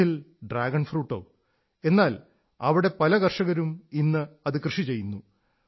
കച്ഛിൽ dragon ഫ്രൂട്ടോ എന്നാൽ അവിടെ പല കർഷകരും ഇന്നത് കൃഷി ചെയ്യുന്നു